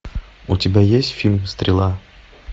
у тебя есть фильм стрела